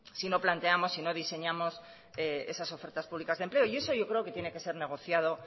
si no planteamos si no diseñamos esas ofertas públicas de empleo y eso yo creo que tiene que ser negociado